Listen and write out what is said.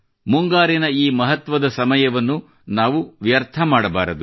ಮುಂಗಾರಿನ ಈ ಮಹತ್ವದ ಸಮಯವನ್ನು ನಾವು ವ್ಯರ್ಥ ಮಾಡಬಾರದು